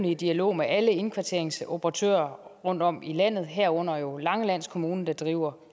i dialog med alle indkvarteringsoperatører rundtom i landet herunder langeland kommune der driver